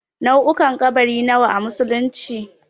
Nau'ukan ƙabari nawa a musulunci?